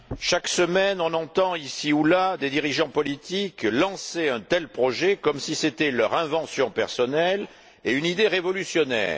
Chaque semaine, on entend ici ou là des dirigeants politiques lancer un tel projet, comme si c'était leur invention personnelle et une idée révolutionnaire.